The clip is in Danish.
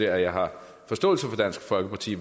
at jeg har forståelse for dansk folkeparti